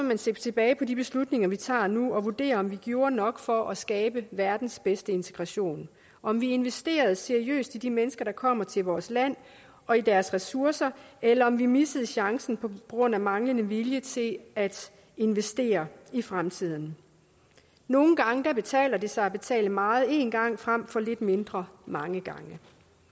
man se tilbage på de beslutninger vi tager nu og vurdere om vi gjorde nok for at skabe verdens bedste integration om vi investerede seriøst i de mennesker der kommer til vores land og i deres ressourcer eller om vi missede chancen på grund af manglende vilje til at investere i fremtiden nogle gange betaler det sig at betale meget en gang frem for lidt mindre mange gange